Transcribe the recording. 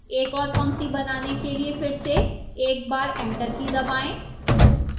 एक ओर पंक्ति बनाने के लिए फिर से एक बार enter की दबाएं